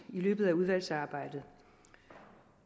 løbet af udvalgsarbejdet